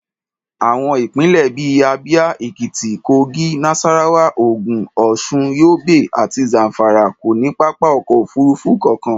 Àwọn ìpínlẹ̀ bí i Abia, Ekiti, Kogi, Nasarawa, Ogun, Osun, Yobe àti Zamfara kò ní pápá ọkọ̀ òfuurufú kankan.